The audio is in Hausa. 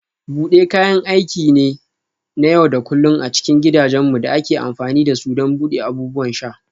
Bude kayan aiki ne na yau da kullun a cikin gidajenmu da ake amfani da su don buɗe abubuwan sha.